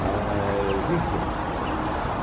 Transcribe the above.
Mas, enfim.